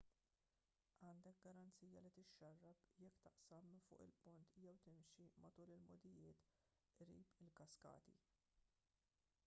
għandek garanzija li tixxarrab jekk taqsam minn fuq il-pont jew timxi matul il-mogħdijiet qrib il-kaskati